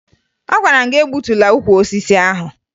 Agwara m gị egbutula ukwu osisi ahụ!